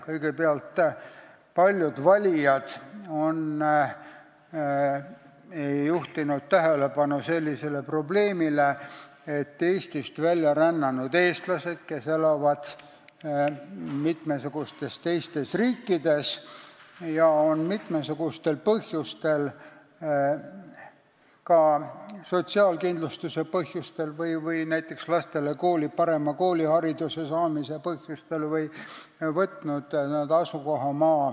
Kõigepealt, paljud valijad on juhtinud tähelepanu sellisele probleemile, et Eestist välja rännanud eestlased, kes elavad teistes riikides, on võtnud n-ö asukohamaa kodakondsuse mitmesugustel põhjustel, näiteks sotsiaalkindlustuse või lastele parema koolihariduse saamise pärast.